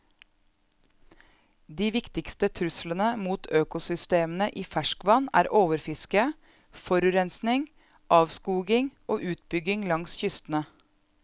De viktigste truslene mot økosystemene i ferskvann er overfiske, forurensning, avskoging og utbygging langs kystene.